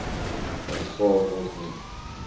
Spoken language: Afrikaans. aanvaar word nie